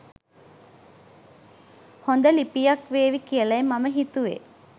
හොඳ ලිපියක් වේවි කියලයි මම හිතුවේ.